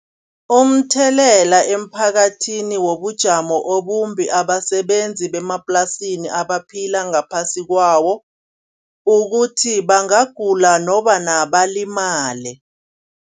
Umthelela emphakathini wobujamo obumbi abasebenzi bemaplasini abaphila ngaphasi kwawo ukuthi bangagula nokobana balimale.